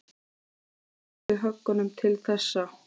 Þetta var með þyngstu höggunum til þessa.